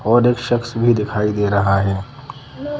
और एक शख्स भी दिखाई दे रहा हैं ।